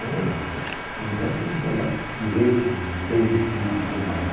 não, O filho dela tinha que andar direito, bem vestido e tudo mais.